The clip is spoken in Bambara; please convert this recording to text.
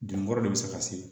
Den wɔɔrɔ de bɛ se ka se